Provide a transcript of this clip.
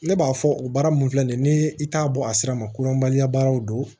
Ne b'a fɔ o baara mun filɛ nin ye ni i t'a bɔ a sira ma koɲɔgɔnbaya baaraw don